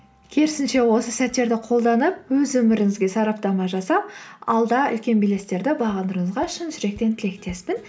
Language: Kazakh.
керісінше осы сәттерді қолданып өз өміріңізге сараптама жасап алда үлкен белестерді бағындыруыңызға шын жүректен тілектеспін